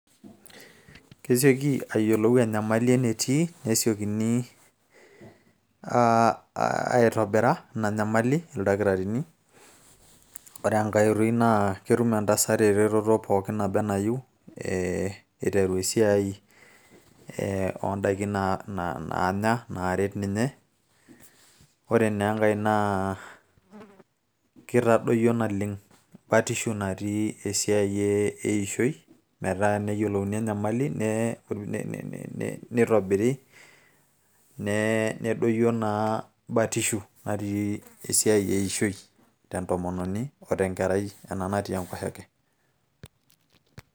kesioki ayiolou enyamali enetii nesiokini aitobira ina nyamali ildakitarini ore enkay oitoi naa ketum entasat eretoto pookin naba enayieu eiteru esiai oondaiki naanya naaret ninye ore naa enkay naa kitadoyio naleng batisho natii esiai eishoi metaa neyiolouni enyamali nee nitobiri nee nedoyio naa batishu natii esiai eishoi tentomononi o tenkerai ena natii e nkoshoke.